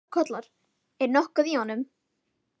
Einhver strákur kallar: Er nokkuð í honum